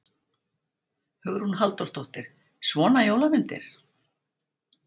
Hugrún Halldórsdóttir: Svona jólamyndir?